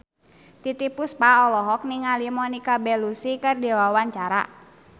Titiek Puspa olohok ningali Monica Belluci keur diwawancara